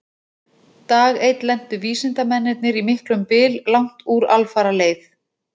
Dag einn lentu vísindamennirnir í miklum byl langt úr alfaraleið.